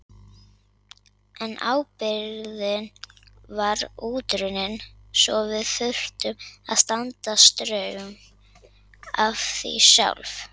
En ábyrgðin var útrunnin svo við þurftum að standa straum af því sjálf.